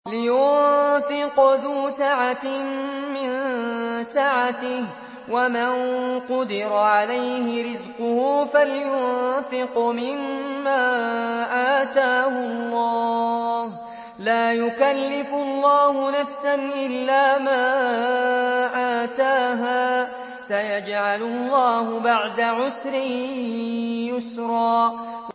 لِيُنفِقْ ذُو سَعَةٍ مِّن سَعَتِهِ ۖ وَمَن قُدِرَ عَلَيْهِ رِزْقُهُ فَلْيُنفِقْ مِمَّا آتَاهُ اللَّهُ ۚ لَا يُكَلِّفُ اللَّهُ نَفْسًا إِلَّا مَا آتَاهَا ۚ سَيَجْعَلُ اللَّهُ بَعْدَ عُسْرٍ يُسْرًا